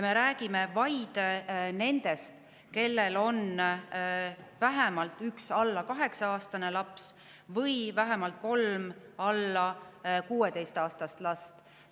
Me räägime vaid nendest, kellel on vähemalt üks alla kaheksa-aastane laps või vähemalt kolm alla 16-aastast last.